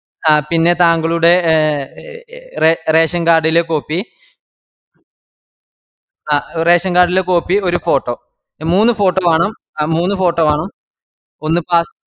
ആപിന്നെതാങ്കളുടെറേഷൻ card ലെ copy ആറേഷൻ card ലെ copy ഒരു photo മൂന്ന് photo വാണം മൂന്ന് photo വാണം ഒന്ന് അഹ്